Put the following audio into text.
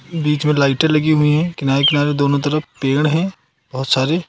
बीच में लाइटें लगी हुई है किनारे किनारे दोनों तरफ पेड़ हैं बहुत सारे।